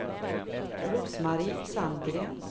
Rose-Marie Sandgren